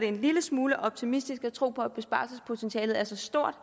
en lille smule optimistisk at tro at besparelsespotentialet er så stort